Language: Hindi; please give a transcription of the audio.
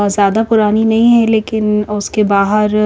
ज्यादा पुरानी नहीं है लेकिन उसके बाहर --